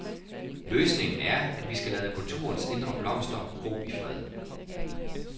Løsningen er, at vi skal lade kulturens indre blomster gro i fred.